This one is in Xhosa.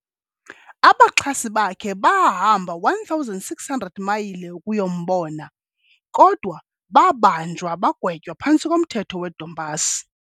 abaxhasi bakhe bahamba 1600 mayile ukuyombona kodwababanjwa bagwetywa phantsi komthetho wedompass.